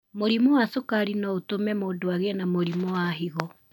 Mũrimũ wa cukari no ũtũme mũndũ agĩe na mũrimũ wa higo.